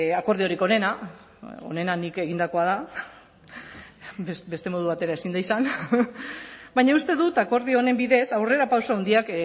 akordiorik onena onena nik egindakoa da beste modu batera ezin da izan baina uste dut akordio honen bidez aurrerapauso handiak